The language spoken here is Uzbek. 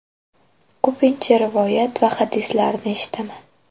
Ko‘pincha rivoyat va hadislarni eshitaman.